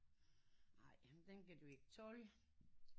Ej den kan du ikke tåle